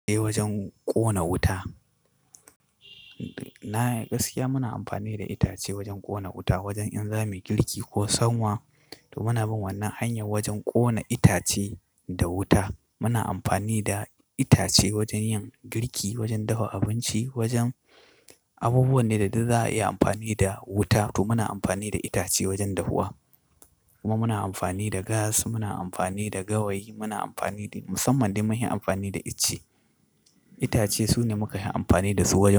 Eh, wajen ƙona wuta. Na gaskiya muna amfani da itace wajen ƙona wuta, wajen in zamuyi girki ko sanwa. To muna bin wannan hanyar wajen ƙona itace da wuta. Muna amfani da itace wajen yin girki, wajen dafa abinci, wajen abubuwan ne da duk za a iya amfani da wuta. To muna amfani da itace wajen dafuwa. Kuma muna amfani da gas, muna amfani da gawayi, muna amfani da musamman dai mun yi amfani da ice. Itace sune muka yi amfani da su wurin.